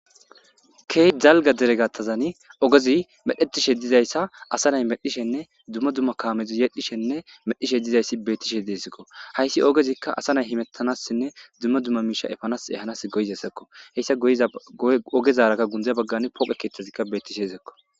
Kehi dalga deregatazan ogezi medhetishe dizayssa asa nay medhishenne dumma dumma kaamezi yedhishenne medhishe dizayssi bettishe deesikko hayssi ogezikka asa nay himettanassinne dumma dumma miisha efanas ehanas goyizasakko heyssa za ogezaarakka gundze baggan pooqe keeththezikka bettishe zekko